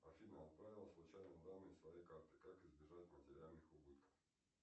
афина отправил случайно данные своей карты как избежать материальных убытков